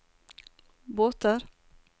båter